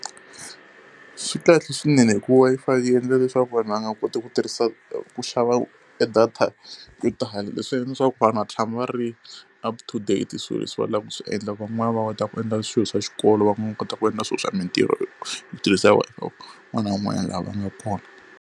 Swi kahle swinene hi ku Wi-Fi yi endla leswaku vanhu va nga koti ku tirhisa ku xava e data yo tala, leswi endla leswaku vanhu va tshama va ri up to date hi swilo leswi va lavaka ku swi endla. Van'wana va kota ku endla swilo swa xikolo, van'wana va nga kota ku endla swilo swa mintirho ku tirhisa un'wana na wun'wana laha a nga kona.